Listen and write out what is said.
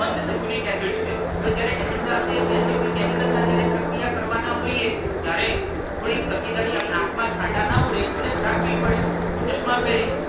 મંદ sulfuric acid છે હવે જ્યારે એસિડ સાથે કે અન્ય કોઈ કેમિકલ સાથે આપણે પ્રક્રિયા કરવાના હોઈએ ત્યારે થોડીક તકેદારી આપણી આખ માં છાંટા ના ઊડે એટલે રાખવી પડે. હું ચશ્મા પહેરી